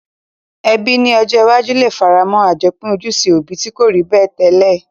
Ebí ni ojó iwájú le faramó àjopín ojúse òbi ti ko rí bẹ́ẹ̀ tẹ́lẹ̀